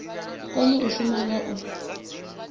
kone u shuma nga u